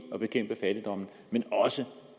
at bekæmpe fattigdom men også